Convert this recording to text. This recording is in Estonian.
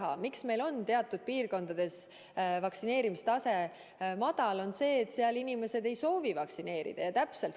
Põhjus, miks meil on teatud piirkondades vaktsineerimise tase madal, ongi ju see, et sealsed inimesed ei soovi end lasta vaktsineerida.